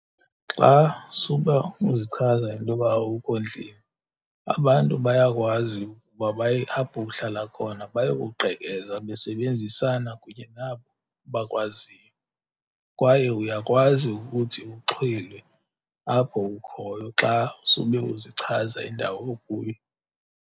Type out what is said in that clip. Xa suba uzichaza intoba awukho ndlini abantu bayakwazi ukuba baye apho uhlala khona bayokugqekeza besebenzisana kunye nabo bakwaziyo, kwaye uyakwazi ukuthi uxhwilwe apho ukhoyo xa sube uzichaza indawo okuyo.